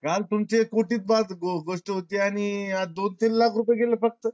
काल तुमचे कोटीत बात होती आणि आता दोन तीन लाख रुपये गेले फक्त